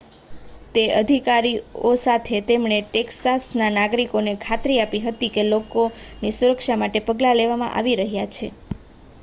તે અધિકારીઓ સાથે તેમણે ટેક્સાસના નાગરિકોને ખાતરી આપી હતી કે લોકોની સુરક્ષા માટે પગલાં લેવામાં આવી રહ્યાં છે